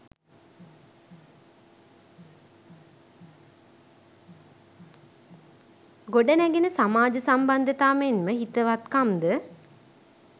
ගොඩනැඟෙන සමාජ සම්බන්ධතා මෙන්ම හිතවත්කම් ද